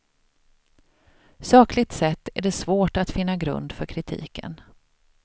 Sakligt sett är det svårt att finna grund för kritiken.